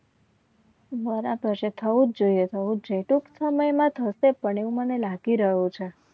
બરાબર છે થવું જ જોઈએ થવું જ જોઈએ ટૂંક સમયમાં થશે પણ એવુ મને લાગી રહ્યુ છે